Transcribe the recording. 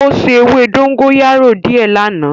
O se ewe dogoyaro die lana.